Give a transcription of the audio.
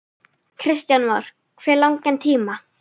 Kristján Már: Hve langan tíma?